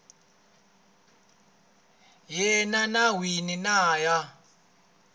yena n wini na ya